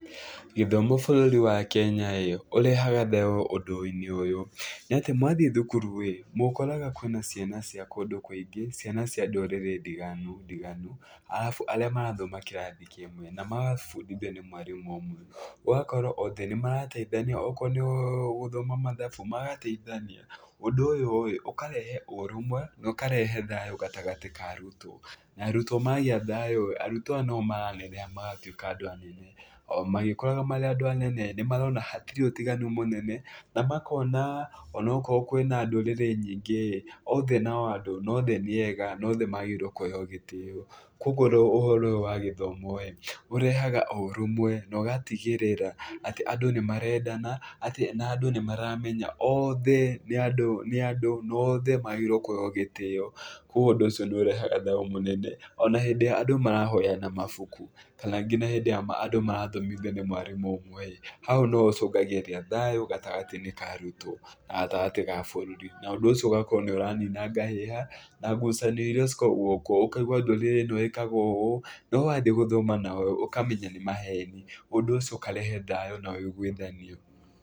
Gĩthomo bũrũri wa Kenya-ĩ, ũrehaga thayũ ũndũ-inĩ ũyũ, nĩ atĩ mwathiĩ thukuru-ĩ, mũkoraga kwĩna ciana cia kũndũ kũingĩ, ciana cia ndũrĩrĩ ndiganu ndiganu arabu arĩa marathoma kĩrathi kĩmwe na magabundithio nĩ mwarimũ ũmwe. Ũgakora othe nĩmarateithania, okorwo nĩ gũthoma mathabu magateithania. Ũndũ ũyũ-rĩ ũkarehe ũrũmwe no ũkarehe thayũ gatagatĩ ka arutwo na arutwo magĩa thayũ-rĩ, arutwo aya noa oo maraneneha magatuĩka andũ anene, o magĩkũraga marĩ andũ anene nĩmarona hatirĩ ũtiganu mũnene na makona ona akorwo kwĩna ndũrĩrĩ nyingĩ-ĩ, othe no andũ, othe nĩ ega na othe magĩrĩire kũheo gĩtĩo. Kũoguo ũhoro ũyũ wa gĩthomo ũrehaga ũrũmwe na ũgatigĩrĩra atĩ andũ nĩ marendana atĩ na andũ nĩ maramenya atĩ othe nĩ andũ, nĩ andũ no othe magĩrĩrwo nĩ kũheo gĩtĩo, kũguo ũndũ ũcio nĩ ũrehaga thayũ mũnene. Ona hĩndĩ ĩrĩa andũ marahoyana mabuku kana nginya hĩndĩ ĩrĩa andũ marathomithio nĩ mwarimũ ũmwe-ĩ, hau nĩhacongagĩrĩria thayũ gatagatĩ-inĩ ka arutwo na gatagatĩ ga bũrũri na ũndũ ũcio ũgakorwo nĩ ũranina ngahĩha na ngucanio irĩa ikoragwo kuo, ũkaigua ndũrĩrĩ ĩno ĩkaga ũũ, no wathiĩ gũthoma nao ũkamenya nĩ maheni, ũndũ ũcio ũkarehe thayũ na ũiguithanio.